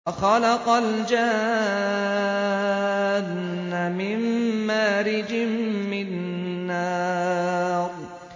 وَخَلَقَ الْجَانَّ مِن مَّارِجٍ مِّن نَّارٍ